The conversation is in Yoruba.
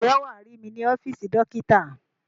Ǹjẹ́ wàá rí mí ní ọ́fíìsì dókítà?